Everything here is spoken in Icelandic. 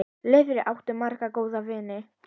Laufey átti marga góða vini.